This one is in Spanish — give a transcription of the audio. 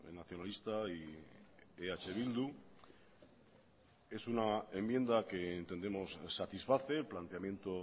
nacionalista y eh bildu es una enmienda que entendemos satisface el planteamiento